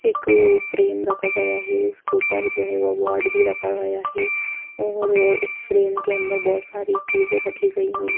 एक फ्रेम रखा गया है उसके ऊपर जो है वो अवार्ड भी रखा गया है और इस फ्रेम के अंदर बहुत सारी चीजें रखी गई हुई--